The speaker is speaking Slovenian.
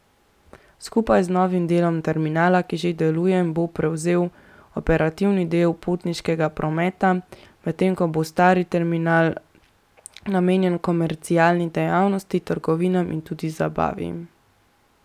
Skupaj z novim delom terminala, ki že deluje, bo prevzel operativni del potniškega prometa, medtem ko bo stari terminal namenjen komercialni dejavnosti, trgovinam in tudi zabavi.